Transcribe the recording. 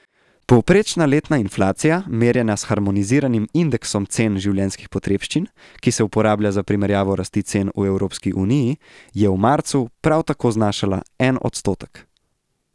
Povprečna letna inflacija, merjena s harmoniziranim indeksom cen življenjskih potrebščin, ki se uporablja za primerjavo rasti cen v Evropski uniji, je v marcu prav tako znašala en odstotek.